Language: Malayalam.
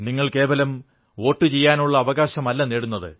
നിങ്ങൾ കേവലം വോട്ടുചെയ്യാനുള്ള അവകാശമല്ല നേടുന്നത്